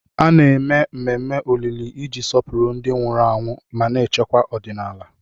A na-eme ememe olili iji sọpụrụ ndị nwụrụ anwụ mana echekwa ọdịnala.